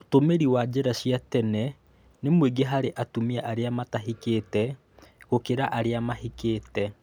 Ũtũmĩri wa njĩra cia tene nĩ mũingĩ harĩ atumia arĩa matahikĩte gũkĩra arĩa mahikĩte